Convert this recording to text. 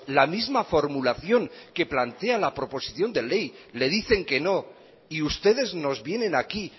la misma formulación que plantea la proposición de ley le dicen que no y ustedes nos vienen aquí